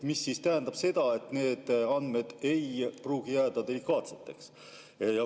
See tähendab seda, et need andmed ei pruugi jääda delikaatseks.